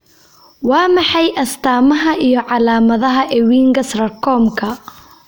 Waa maxay astamaha iyo calaamadaha Ewinga sarcomka?